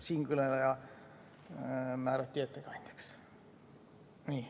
Siinkõneleja määrati ettekandjaks.